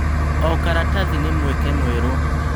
O karatathi nĩ mweke mwerũ.